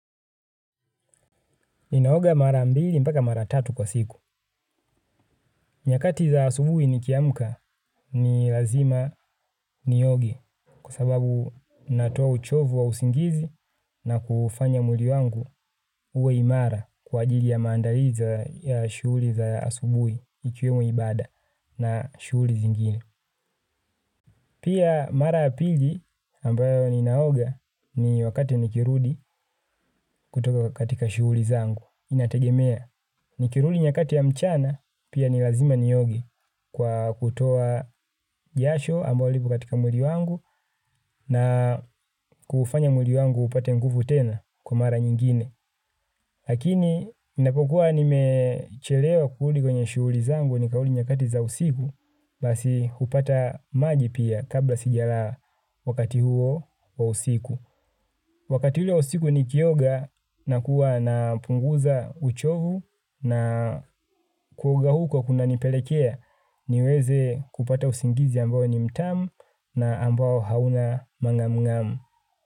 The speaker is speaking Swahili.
Ninaoga mara mbili mpaka mara tatu kwa siku. Nyakati za asubui nikiamka ni lazima nioge kwa sababu natoa uchovu wa usingizi na kuufanya mwili wangu uwe imara kwa ajili ya maandalizi ya shuhuli za asubui ikiwemo ibada na shuhuli zingine. Pia mara ya pili ambayo ninaoga ni wakati nikirudi kutoka katika shuhuli zangu. Inategemea. Nikirudi nyakati ya mchana pia ni lazima nioge kwa kutoa jasho ambalo lipo katika mwili wangu na kuufanya mwili wangu upate nguvu tena kwa mara nyingine. Lakini inapokuwa nimechelewa kurudi kwenye shuhuli zangu nikarudi nyakati za usiku basi hupata maji pia kabla sijalala wakati huo wa usiku. Wakati ule wa usiku nikioga na kuwa na punguza uchovu na kuoga huko kuna nipelekea niweze kupata usingizi ambayo ni mtamu na ambao hauna mang'amung'amu.